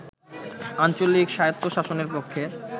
আঞ্চলিক স্বায়ত্তশাসনের পক্ষে